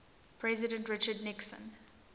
president richard nixon